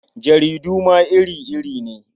Jaridu ma iri-iri ne.